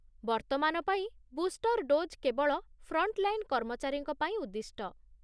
ବର୍ତ୍ତମାନ ପାଇଁ booster dose କେବଳ ଫ୍ରଣ୍ଟଲାଇନ୍ କର୍ମଚାରୀଙ୍କ ପାଇଁ ଉଦ୍ଦିଷ୍ଟ।